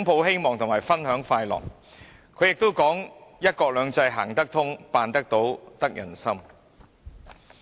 抱希望分享快樂"，又說"一國兩制"是"行得通、辦得到、得人心"。